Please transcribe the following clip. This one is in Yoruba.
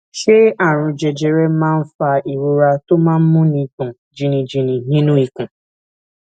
ṣé àrùn jẹjẹrẹ máa ń fa ìrora tó máa ń múni gbòn jìnnìjìnnì nínú ikùn